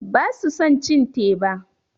Basu son cin teba.